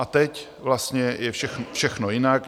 A teď vlastně je všechno jinak.